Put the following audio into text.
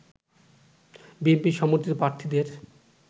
BNP সমর্থিত প্রার্থীদের